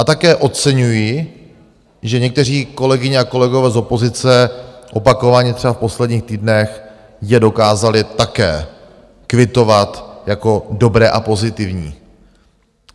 A také oceňuji, že někteří kolegové a kolegyně z opozice opakovaně třeba v posledních týdnech je dokázali také kvitovat jako dobré a pozitivní.